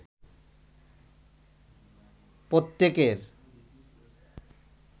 প্রত্যকের